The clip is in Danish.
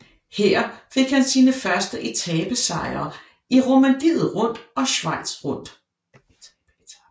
Her fik han sine første etapesejre i Romandiet Rundt og Schweiz Rundt